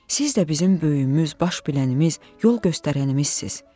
Siz də bizim böyüyümüz, baş bilənimiz, yol göstərənimizsiz.